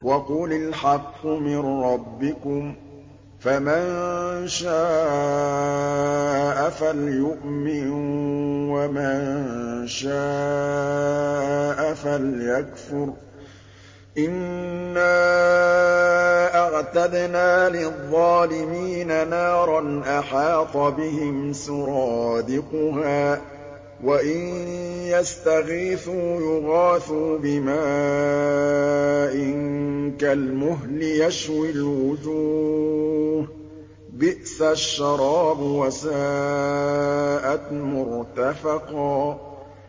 وَقُلِ الْحَقُّ مِن رَّبِّكُمْ ۖ فَمَن شَاءَ فَلْيُؤْمِن وَمَن شَاءَ فَلْيَكْفُرْ ۚ إِنَّا أَعْتَدْنَا لِلظَّالِمِينَ نَارًا أَحَاطَ بِهِمْ سُرَادِقُهَا ۚ وَإِن يَسْتَغِيثُوا يُغَاثُوا بِمَاءٍ كَالْمُهْلِ يَشْوِي الْوُجُوهَ ۚ بِئْسَ الشَّرَابُ وَسَاءَتْ مُرْتَفَقًا